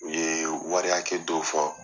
U ye wariya hakɛ dɔw fɔ.